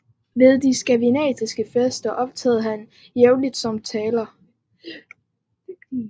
Ved de skandinaviske fester optrådte han jævnlig som taler